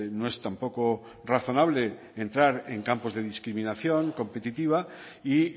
no es tampoco razonable entrar en campos de discriminación competitiva y